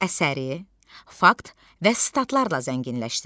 Əsəri fakt və statlarla zənginləşdir.